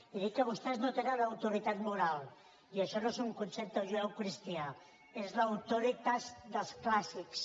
he dit que vostès no tenen autoritat moral i això no és un concepte judeocristià és l’auctoritas dels clàssics